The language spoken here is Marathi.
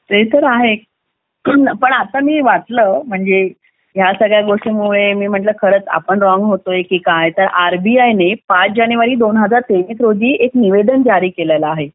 ते तर आहे पण पण आता मी वाचलं म्हणजे या सगळ्या गोष्टींमुळे मी म्हटलं की रॉंग होतोय की काय आरबीआय ने दोन हजार तेवीस रोजी निवेदन जारी केलेल्या आहे